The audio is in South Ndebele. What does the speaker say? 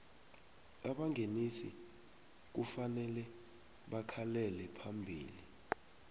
abangenisi kufanele bakhalele phambili